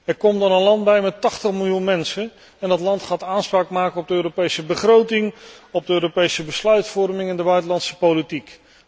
Er komt dan een land bij met 80 miljoen mensen en dat land gaat aanspraak maken op de Europese begroting, de Europese besluitvorming en de buitenlandse politiek.